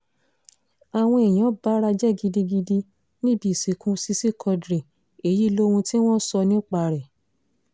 àwọn èèyàn bara jẹ́ gidigidi níbi ìsìnkú sisi quadri èyí lohun tí wọ́n sọ nípa rẹ̀